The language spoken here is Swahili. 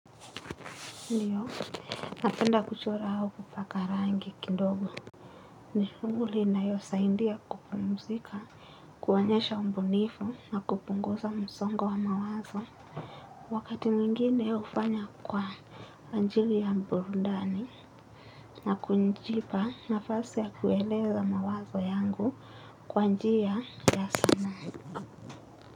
Ndiyo, napenda kuchora au kupaka rangi kidogo. Ni shughuli inayosaidia kupumzika, kuonyesha ubunifu, na kupunguza msongo wa mawazo. Wakati mwngine hufanya kwa ajili ya burudani. Na kujipa nafasi ya kueleza mawazo yangu kwa njia ya sanaa.